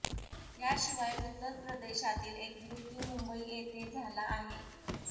याशिवाय उत्तर प्रदेशातील एक मृत्यू मुंबई येथे झाला आहे